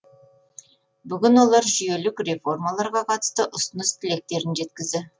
бүгін олар жүйелік реформаларға қатысты ұсыныс тілектерін жеткізді